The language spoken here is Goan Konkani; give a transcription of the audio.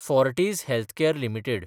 Fortis healthcare limited